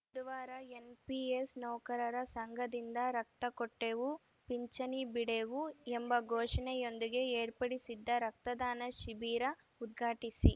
ಬುಧವಾರ ಎನ್‌ಪಿಎಸ್‌ ನೌಕರರ ಸಂಘದಿಂದ ರಕ್ತ ಕೊಟ್ಟೇವು ಪಿಂಚಣಿ ಬಿಡೆವು ಎಂಬ ಘೋಷಣೆಯೊಂದಿಗೆ ಏರ್ಪಡಿಸಿದ್ದ ರಕ್ತದಾನ ಶಿಬಿರ ಉದ್ಘಾಟಿಸಿ